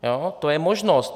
To je možnost.